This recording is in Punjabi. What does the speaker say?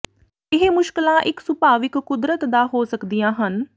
ਇਹ ਮੁਸ਼ਕਲਾਂ ਇਕ ਸੁਭਾਵਿਕ ਕੁਦਰਤ ਦਾ ਹੋ ਸਕਦੀਆਂ ਹਨ